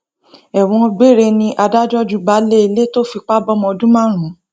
ẹwọn gbére ni adájọ ju baálé ilé tó fipá bọmọ ọdún márùn